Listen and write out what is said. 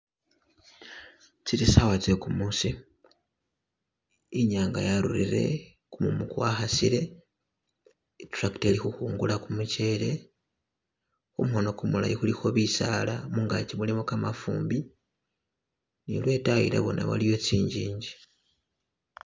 Tsili sawa zegumusi inyanga yarulile gumumu gwakhasile i'tractor ili kukhungula gumuchele kumukhono gumulayi kulikho bisaala mungagi mulimo gamafumbi ni lwedayi la bona waliyo zinjinji.